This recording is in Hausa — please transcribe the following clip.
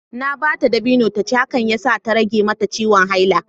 Na ba ta dabino ta ci, hakan ya sa ta rage mata ciwon haila